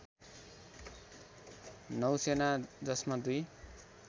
नौसेना जसमा दुई